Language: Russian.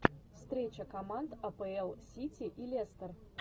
встреча команд апл сити и лестер